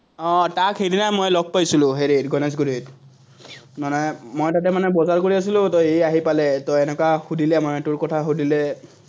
আহ তাক সেইদিনা মই লগ পাইছিলো, হেৰিত, গনেশগুৰিত। মানে মই তাতে মানে বজাৰ কৰি আছিলোতো সি আহি পালে, এনেকুৱা সুধিলে মানে তোৰ কথা সুধিলে।